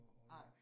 Nej